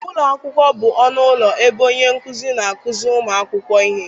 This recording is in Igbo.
Ụlọ akwụkwọ bụ ọnụ ụlọ ebe onye nkuzi na-akụziri ụmụ akwụkwọ ihe